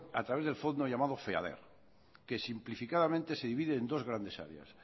hace a través del fondo llamado feader que simplificadamente se divide en dos grandes áreas